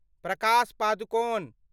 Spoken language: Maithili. प्रकाश पादुकोण